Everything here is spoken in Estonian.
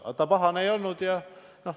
Ta ei olnud pahane.